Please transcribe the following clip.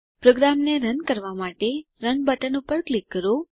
પ્રોગ્રામને રન કરવાં માટે રન બટન પર ક્લિક કરો